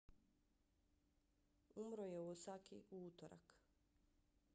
umro je u osaki u utorak